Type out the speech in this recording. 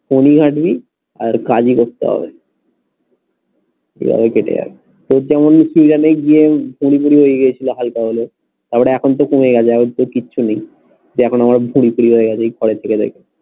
ফোনই ঘাটবি আর কাজ ই করতে হবে এইভাবে কেটে যাবে। তোর যেমন ওই গিয়ে ভুঁড়ি টুরি হয়ে গেছিলো হালকা হলেও তার পরে তো এখন কমে গেছে এখন তো কিচ্ছু নেই।